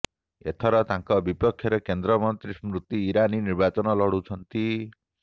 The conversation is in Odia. ଏଥର ତାଙ୍କ ବିପକ୍ଷରେ କେନ୍ଦ୍ରମନ୍ତ୍ରୀ ସ୍ମୃତି ଇରାନି ନିର୍ବାଚନ ଲଢ଼ୁଛନ୍ତି